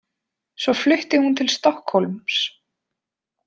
Svo flutti hún til Stokkhólms.